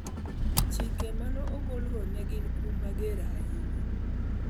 Chike ma ne ogolgo ne gin kum mager ahinya